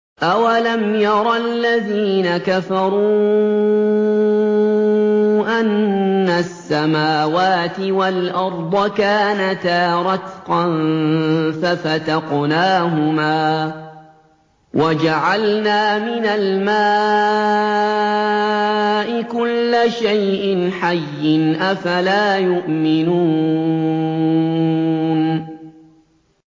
أَوَلَمْ يَرَ الَّذِينَ كَفَرُوا أَنَّ السَّمَاوَاتِ وَالْأَرْضَ كَانَتَا رَتْقًا فَفَتَقْنَاهُمَا ۖ وَجَعَلْنَا مِنَ الْمَاءِ كُلَّ شَيْءٍ حَيٍّ ۖ أَفَلَا يُؤْمِنُونَ